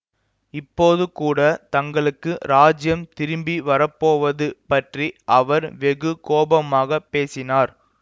இப்போது கூட தங்களுக்கு ராஜ்யம் திரும்பி வரப்போவது பற்றி அவர் வெகு கோபமாக பேசினார்